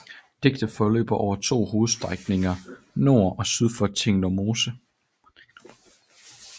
Diget forløber over to hovedstrækninger nord og syd for Tinglev Mose